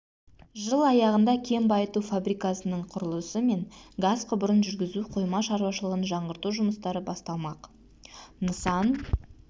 жыл аяғында кен байыту фабрикасының құрылысы мен газ құбырын жүргізу қойма шаруашылығын жаңғырту жұмыстары басталмақ нысан